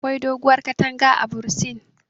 Akwai doguwar katanga a bursin